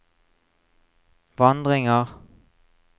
vandringer